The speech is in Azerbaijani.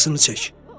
Ayırısını çək.